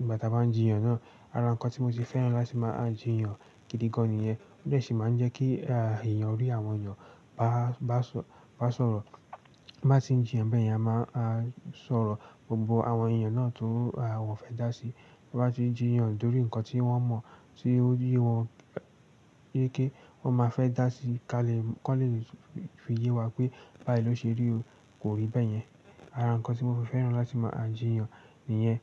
ìgbà ta bá ń jiyàn náà. Ara ǹkan tí mo se fẹ́ràn láti máa jiyàn gidi gan nìyẹn. I de sì máa ń jẹ́ kí èèyàn rí àwọn èèyàn bá sọ̀rọ̀. Tin bá ti ń jiyàn bẹ́yẹ̀n a máa a n sọ̀rọ̀. Gbogbo àwọn èèyàn náà tó wọ́n fẹ́ dá sí. Tin bá ti ń jiyàn lórí ǹkan tí wọ́n mọ̀ tí ó yé wọn yéke wọ́n máa fẹ́ dá sí i ká lè kan le fi yé wa pé báyi ló ṣe rí o, kò rí bẹ́yẹn. Ara ǹkan tí mo fi fẹ́ràn láti máa jiyàn nìyẹn.